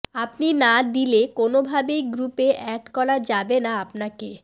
আপনি না দিলে কোনোভাবেই গ্রুপে অ্যাড করা যাবে না আপনাকে